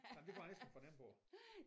Jamen det kunne jeg næsten fornemme på